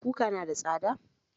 Kuka na da tsada